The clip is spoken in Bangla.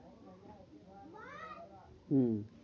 হম